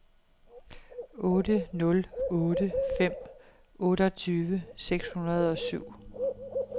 otte nul otte fem otteogtyve seks hundrede og syv